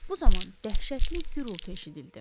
Bu zaman dəhşətli gurultu eşidildi.